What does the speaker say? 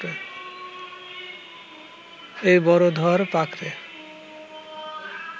এই বড় ধরপাকড়ে